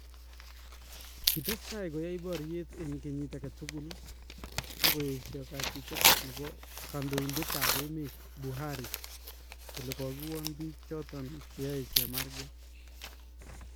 Kitestai koyai baryeet en kenyiit agetukul , ak koyeshaa kachikeet nebo kandoindetab emet Buhari kole kokiwoon biik choton cheyae chemarkeet .